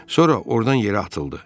Sonra ordan yerə atıldı.